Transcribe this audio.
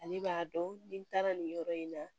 Ale b'a dɔn ni taara nin yɔrɔ in na